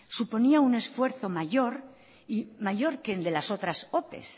suponía un esfuerzo mayor que el de las otras ope